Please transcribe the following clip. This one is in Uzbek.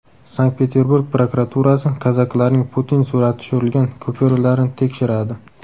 Sankt-Peterburg prokuraturasi kazaklarning Putin surati tushirilgan kupyuralarini tekshiradi.